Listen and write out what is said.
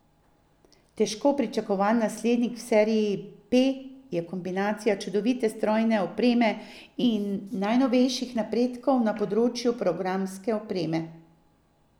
Težko pričakovan naslednik v seriji P je kombinacija čudovite strojne opreme in najnovejših napredkov na področju programske opreme.